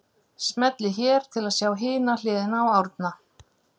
Smellið hér til að sjá hina hliðina á Árna